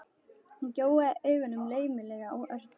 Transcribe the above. Hún gjóaði augunum laumulega á Örn.